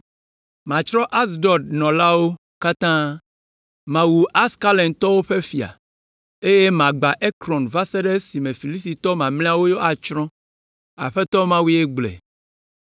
Matsrɔ̃ Asdod nɔlawo katã, mawu Askelontɔwo ƒe fia, eye magbã Ekron va se ɖe esime Filistitɔ mamlɛawo atsrɔ̃.” Aƒetɔ Mawue gblɔe.